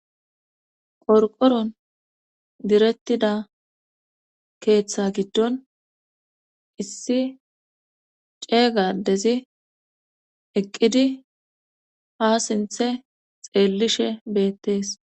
qorqoron direttida keeththa giddon issi ceega adezi eqqidi ha sinthe xeellishe beettees